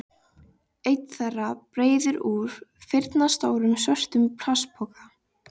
Einn þeirra breiðir úr firnastórum svörtum plastpoka.